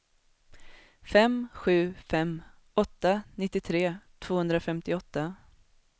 fem sju fem åtta nittiotre tvåhundrafemtioåtta